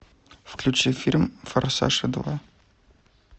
включи фильм форсаж два